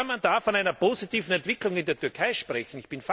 Wie kann man da von einer positiven Entwicklung in der Türkei sprechen?